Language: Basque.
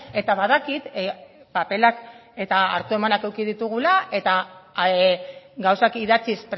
eta badakit paperak eta hartu emanak eduki ditugula eta gauzak idatziz